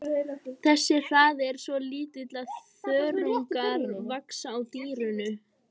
Þessi hraði er svo lítill að þörungar vaxa á dýrinu.